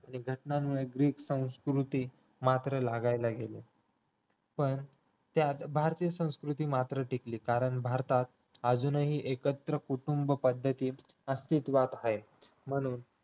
आणि घटनांमुळे ग्रीक संस्कृती मात्र लागायला गेली पण त्यात भारतीय संस्कृती मात्र टिकली कारण भारतात अजूनही एकत्र कुटुंब पद्धती अस्तित्वात आहेत म्हणून